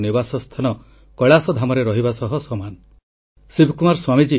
• January 29 ତାରିଖ 11ଟା ସମୟରେ ଛାତ୍ରଛାତ୍ରୀ ପରୀକ୍ଷା ପେ ଚର୍ଚ୍ଚା କାର୍ଯ୍ୟକ୍ରମରେ ଭାଗନେବାକୁ ପରାମର୍ଶ